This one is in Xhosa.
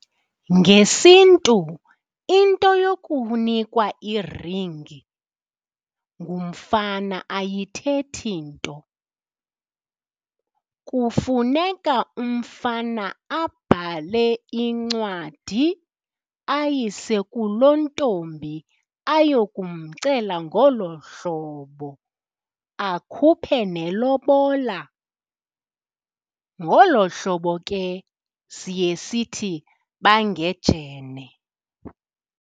NgesiNtu into yokunikwa iringi ngumfana ayithethi nto. Kufuneka umfana abhale incwadi ayise kulontombi aye kumela ngolo hlobo, akhuphe nelobola. Ngolo hlobo ke siye sithi bangejene.